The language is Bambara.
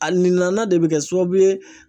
A nina de bɛ kɛ sababu ye